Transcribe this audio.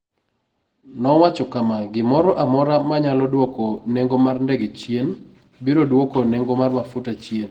Nowacho kama: "Gimoro amora manyalo dwoko nengo mar ndege chien, biro dwoko nengo mar mafuta chien".